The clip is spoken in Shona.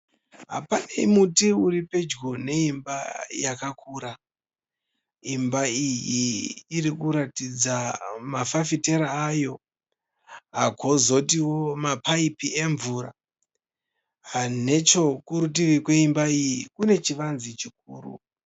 Pane muti uri padyo neimba yakakura, imba iyi iri kuratidza mafafitera ayo kozotiwo mapayipi emvura. Nechekurutivi kweimba iyi kune chivanze chikuru.